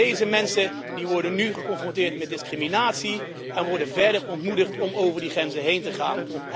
Deze mensen worden nu geconfronteerd met discriminatie en worden verder ontmoedigd om over die grenzen heen te gaan.